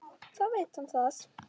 Þá veit hann það.